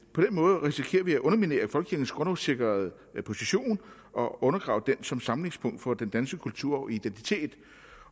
måde risikerer vi at underminere folkekirkens grundlovssikrede position og undergrave den som samlingspunkt for den danske kultur og identitet